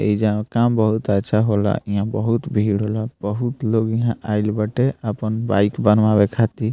एइजा काम बहुत अच्छा होला इहाँ बहुत भीड़ होला बहुत लोग इहाँ आइल बाटे आपन बाइक बनवावे खातिर।